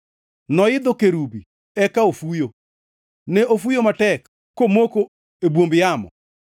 Noidho kerubi eka ofuyo; ne ofuyo matek komoko e bwomb yamo.